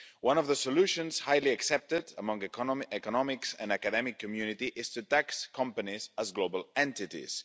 One of the solutions, highly accepted among the economics and academic community, is to tax companies as global entities.